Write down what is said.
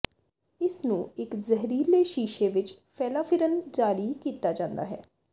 ਇਸ ਨੂੰ ਇੱਕ ਜ਼ਹਿਰੀਲੇ ਸ਼ੀਸ਼ੇ ਵਿੱਚ ਫੈਲਾਫਿਰਨ ਜਾਰੀ ਕੀਤਾ ਜਾਂਦਾ ਹੈ